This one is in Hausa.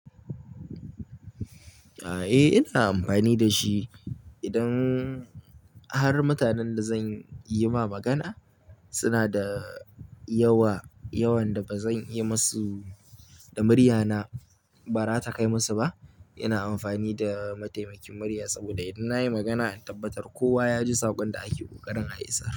Aa, eh ina amfani da shi idan har mutanen da zan yi ma magana suna da yawa, yawan da ba zan iya yi musu da murya na ba, ba ra ta kai musu ba. Ina amfani da mataimakin murya saboda in na yi magana in tabbatar kowa ya ji saƙon da ake ƙoƙarin a isar.